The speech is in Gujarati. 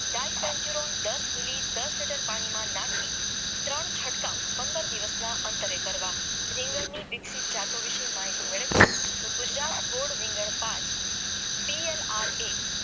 ડાઈ સેન્ચુરીયન દસ મિલી દસ લીટર પાણીમાંથી નાખી ત્રણ છંટકાવ પંદર પંદર દિવસના અંતરે કરવા રીંગણ ની જાતો માહિતી મેળવીએ તો ગુજરાત બોર્ડ પાંચ પી એલ આર એ